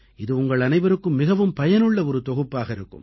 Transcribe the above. இது உங்கள் அனைவருக்கும் மிகவும் பயனுள்ள ஒரு தொகுப்பாக இருக்கும்